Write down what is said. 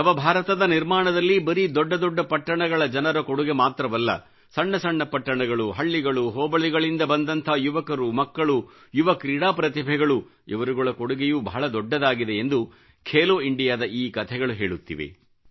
ನವ ಭಾರತದ ನಿರ್ಮಾಣದಲ್ಲಿ ಬರೀ ದೊಡ್ಡ ಪಟ್ಟಣಗಳ ಜನರ ಕೊಡುಗೆ ಮಾತ್ರವಲ್ಲ ಸಣ್ಣ ಪಟ್ಟಣಗಳುಹಳ್ಳಿಗಳು ಹೋಬಳಿಗಳಿಂದ ಬಂದ ಯುವಕರು ಮಕ್ಕಳು ಯುವ ಕ್ರೀಡಾ ಪ್ರತಿಭೆಗಳು ಇವರುಗಳ ಕೊಡುಗೆಯೂ ಬಹಳ ದೊಡ್ಡದಾಗಿದೆ ಎಂದು ಖೇಲೋ ಇಂಡಿಯಾದ ಈ ಕಥೆಗಳು ಹೇಳುತ್ತಿವೆ